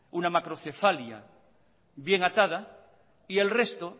una macrocefalia bien atada y el resto